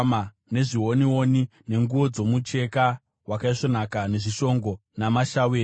nezvionioni, nenguo dzomucheka wakaisvonaka, nezvishongo namashaweri.